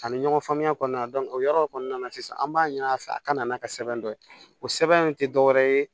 Ani ɲɔgɔn faamuya kɔnɔna o yɔrɔ kɔnɔna na sisan an b'a ɲini a fɛ a ka na n'a ka sɛbɛn dɔ ye o sɛbɛn in tɛ dɔwɛrɛ ye